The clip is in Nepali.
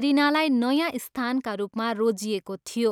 एरिनालाई नयाँ स्थानका रूपमा रोजिएको थियो।